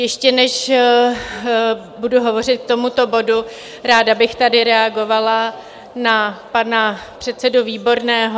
Ještě než budu hovořit k tomuto bodu, ráda bych tady reagovala na pana předsedu Výborného.